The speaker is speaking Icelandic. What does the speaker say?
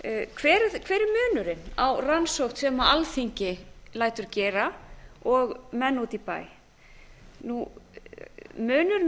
hver er munurinn á rannsókn sem alþingi lætur gera og menn úti í bæ munurinn er